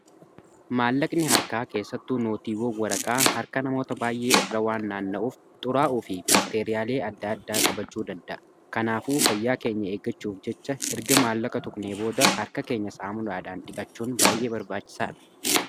maallaqni harkaa keessattuu nootiiwwoon waraqaa harka namoota baay'ee irraa waan naanna'uuf xuraa'uu fi baakteeriyaawwan adda addaa qabachuu danda'a kanaafuu fayyaa keenya eegachuuf jecha erga maallaqa tuqnee booda harka keenya saamunaadhaan dhiqachuun baay'ee barbaachisaa dha.